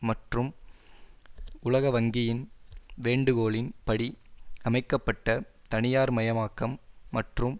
மற்றும் உலகவங்கியின் வேண்டுகோளின் படி அமைக்க பட்ட தனியார்மயமாக்கம் மற்றும்